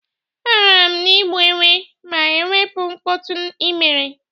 Agaara m igbu enwe ma e wepu mkpọtụ i mere.